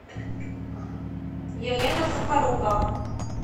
елена сухорукова